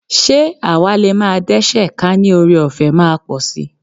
Ṣé àwa lè máa dẹ́ṣẹ̀ ka ní kí ọrẹọ̀fẹ́ máa pọ̀ sí?